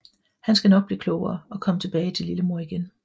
Han skal nok blive klogere og komme tilbage til lillemor igen